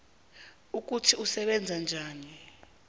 ukuthi usebenza njani